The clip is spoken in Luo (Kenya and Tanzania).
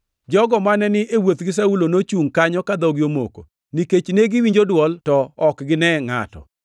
Jogo mane ni e wuoth gi Saulo nochungʼ kanyo ka dhogi omoko; nikech ne giwinjo dwol to ok gine ngʼato.